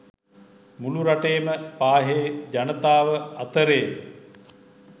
මුළු රටේම පාහේ ජනතාව අතරේ